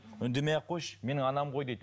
үндемей ақ қойшы менің анам ғой дейді